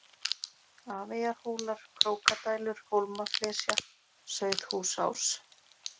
Afeyjarhólar, Krókadælur, Hólmaflesja, Sauðhúsás